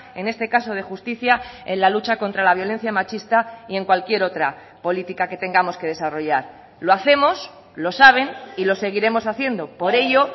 en este caso de justicia en la lucha contra la violencia machista y en cualquier otra política que tengamos que desarrollar lo hacemos lo saben y lo seguiremos haciendo por ello